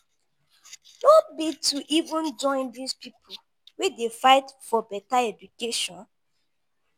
no be to even join dis pipu wey dey fight fore beta education.